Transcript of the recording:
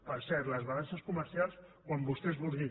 per cert les balances comercials quan vostès vulguin